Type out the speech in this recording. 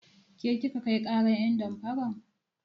Ke kika kai ƙarar ƴen damfaran?